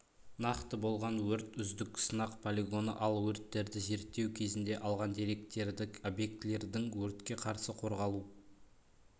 нақты болған өрт үздік сынақ полигоны ал өрттерді зерттеу кезінде алған деректерді объектілердің өртке қарсы қорғалу